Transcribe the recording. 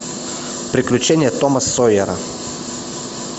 приключения тома сойера